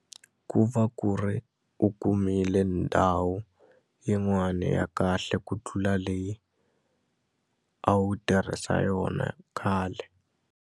Ku va ku ri u kumile ndhawu yin'wani ya kahle ku tlula leyi a wu tirhisa yona khale.